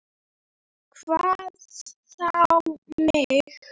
Hvað þá mig.